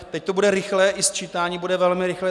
Teď to bude rychlé, i sčítání bude velmi rychlé.